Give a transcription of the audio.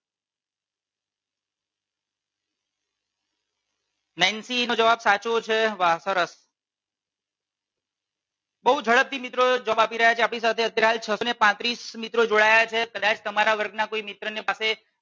Nancy નો જવાબ સાચો છે વાહ સરસ બહુ ઝડપ થી મિત્રો જવાબ આપી રહ્યા છે આપણી સાથે અત્યારે હાલ છ ને પાંત્રીસ મિત્રો જોડાયા છે કદાચ તમારા વર્ગ ના કોઈ મિત્ર ને પાસે